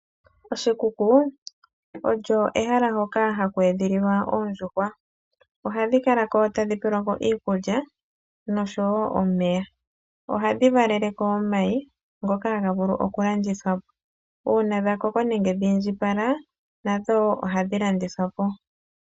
Oshikuku olyo ehala hoka haku edhililwa oondjuhwa. Ohadhi kala ko , tadhi pelwako iikulya nosho woo omeya. Ohadhi valele ko omayi ngoka haga vulu oku landithwa po. Uuna dha koko nenge dhiindjipala nadho ohadhi landitwa po.